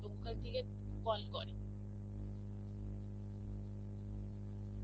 ঐখান থেকে call করে.